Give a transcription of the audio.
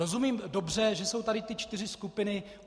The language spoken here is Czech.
Rozumím dobře, že jsou tady ty čtyři skupiny.